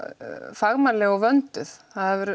fagmannleg og vönduð